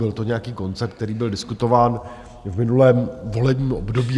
Byl to nějaký koncept, který byl diskutován v minulém volebním období.